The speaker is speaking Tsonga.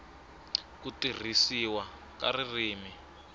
n ku tirhisiwa ka ririmi